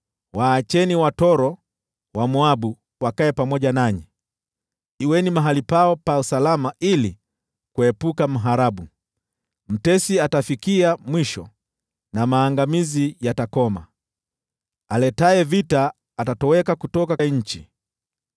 Waacheni watoro wa Moabu wakae pamoja nanyi; kuweni mahali pao pa salama ili kuepuka mharabu.” Mtesi atafikia mwisho na maangamizi yatakoma, aletaye vita atatoweka kutoka nchi.